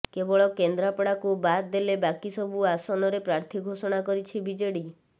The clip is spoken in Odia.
କେବଳ କେନ୍ଦ୍ରାପଡାକୁ ବାଦ୍ ଦେଲେ ବାକି ସବୁ ଆସନରେ ପ୍ରାର୍ଥୀ ଘୋଷଣା କରିଛି ବିଜେଡି